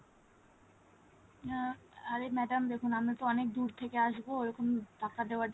আহ আর এই madam দেখুন আমি তো অনেক দূর থেকে আসবো ওরকম টাকা দেওয়ার জন্য